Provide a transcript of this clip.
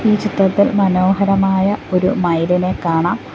ഈ ചിത്രത്തിൽ മനോഹരമായ ഒരു മയിലിനെ കാണാം.